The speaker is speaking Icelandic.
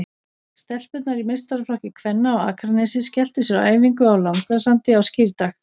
Stelpurnar í meistaraflokki kvenna á Akranesi skelltu sér á æfingu á Langasandi á Skírdag.